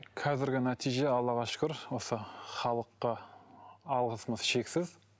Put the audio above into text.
қазіргі нәтиже аллаға шүкір осы халыққа алғысымыз шексіз